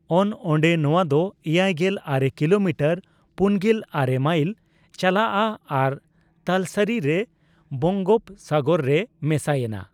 ᱚᱱᱼᱚᱱᱰᱮ ᱱᱚᱣᱟ ᱫᱚ ᱮᱭᱟᱭᱜᱮᱞ ᱟᱨᱮ ᱠᱤᱞᱳᱢᱤᱴᱟᱨ (ᱯᱩᱱᱜᱮᱞ ᱟᱨᱮ ᱢᱟᱤᱞ) ᱪᱟᱞᱟᱜᱼᱟ ᱟᱨ ᱛᱟᱞᱥᱟᱨᱤ ᱨᱮ ᱵᱚᱝᱜᱚᱯᱥᱟᱜᱚᱨ ᱨᱮ ᱢᱮᱥᱟᱭᱮᱱᱟ ᱾